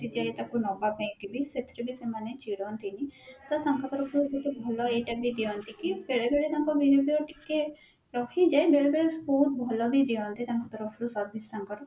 ଯାଏ ତାକୁ ନବା ପାଇଁ କି ବି ସେଥିରେ ବି ସେମାନେ ଚିଡନ୍ତିନି ତ ତାଙ୍କ ତରଫରୁ ଭଲ ଏଇଟା ବି ଦିଅନ୍ତି କି ବେଳବେଳେ ତାଙ୍କ ମାନେ ଯୋଉ ରହିଯାଏ ବେଳେ ବେଳେ ଭଲ ବି ଦିଅନ୍ତି ତାଙ୍କ ତରଫରୁ service ତାଙ୍କର